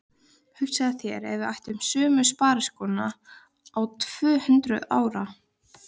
Hugsaðu þér ef við ættum sömu spariskóna í tvö-hundruð ár!